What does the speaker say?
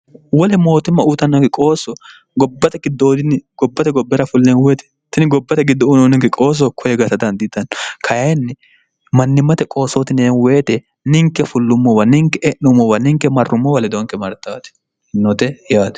wole mootimma uutannafi qoosso gobbate giddootinni gobbate gobbera fulleen uwoyetetini gobbate giddo unoo ninke qooso koye gasa dandiitanno kayinni mannimmate qoosootineeweite ninke fullummowa ninke e'nummowa ninke marrummowa ledonke martaati note yaate